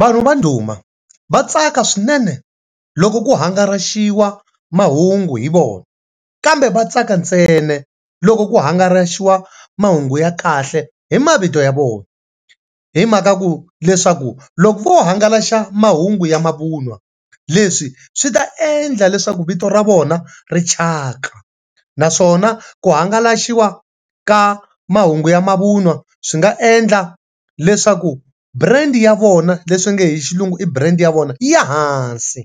Vanhu va ndhuma va tsaka swinene loko ku hangaraxiwa mahungu hi vona kambe vatsaka ntsena loko ku hangalasiwa mahungu ya kahle hi mavito ya vona hi mhaka ku leswaku loko ko hangalasa mahungu ya mavun'wa leswi swi ta endla leswaku vito ra vona ri chaka naswona ku hangalasiwa ka mahungu ya mavun'wa swi nga endla leswaku brand ya vona leswinge hi xilungu i brand ya vona yi ya ehansi